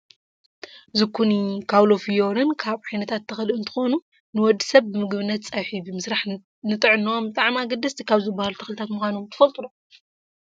ዙኩኒ፣ ካውሎ ፍዮሪን ካብ ዓይነታት ተክሊ እንትኮኑ ንወዲ ሰብ ብምግብነት ፀብሒ ብምስራሕ ንጥዕኖኦም ብጣዕሚ ኣገደስቲ ካብ ዝባሃሉ ተክልታት ምኳኖም ትፈልጡ ዶ ?